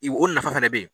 I o nafa fɛnɛ be ye